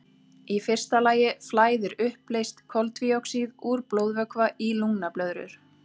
Í fyrsta lagi flæðir uppleyst koltvíoxíð úr blóðvökva í lungnablöðrur.